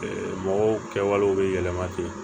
Mɔgɔw kɛwalew bɛ yɛlɛma ten